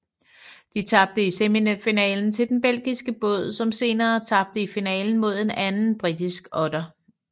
De tabte i semifinalen til den belgiske båd som senere tabte i finalen mod en anden britisk otter